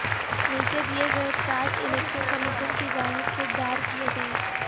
نیچے دیئے گئے چاٹ الیکشن کمیشن کی جانب سے جار کئے گئے